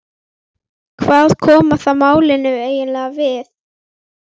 Hvað koma það málinu eiginlega við?